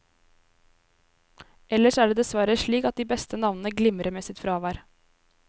Ellers er det dessverre slik at de beste navnene glimrer med sitt fravær.